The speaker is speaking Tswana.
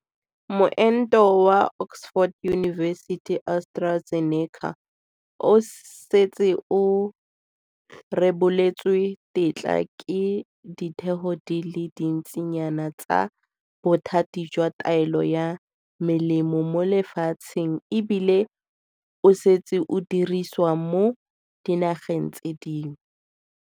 Moento wa Oxford University-AstraZeneca o setse o reboletswe tetla ke ditheo di le dintsinyana tsa bothati jwa taolo ya melemo mo lefatsheng ebile o setse o dirisiwa mo dinageng tse dingwe.